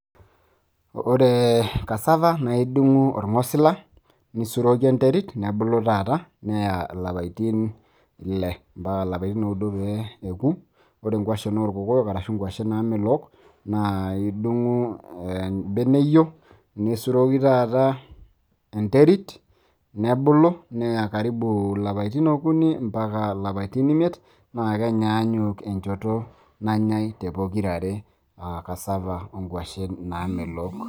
ore cassava naa idung'u orng'osila, nisuroki enterit nebulu taata neya ilapaitin, ile mpaka ilapaitin ooudo pee eku. ore inkuashe oorkokoyok ashu inkwashen naamelook, naa idung'u ebeneyio, nisuroki taata enterit, nebulu neya karibu ilapaitin okuni mpaka ilapaitin imiet, naa kenyaanyuk enchoto nanyae pokira are. cassava o nkuashen naamelook.